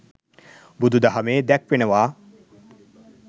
බුදුදහමේ දැක්වෙනවා.